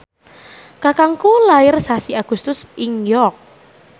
kakangku lair sasi Agustus ing York